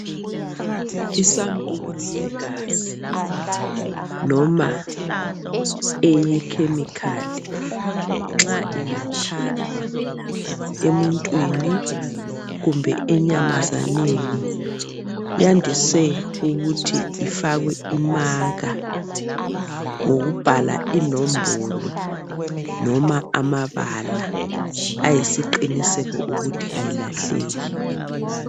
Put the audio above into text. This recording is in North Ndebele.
i sampulu yegazi loma eye chemical nxa ingathathwa emuntwini kumbe enyamazaneni yandiswe ukuthi ifakwe imaka ngokubhal inombolo loma amabala ayisiqiniseko ukuthi angalahleki